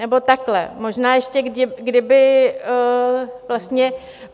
Nebo takhle, možná ještě kdyby vlastně...